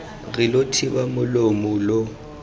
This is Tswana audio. re lo thiba molomo lo